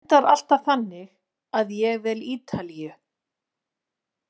Það endar alltaf þannig að ég vel Ítalíu.